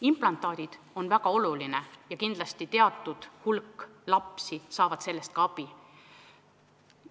Implantaadid on väga olulised ja kindlasti teatud hulk lapsi saab nendest abi.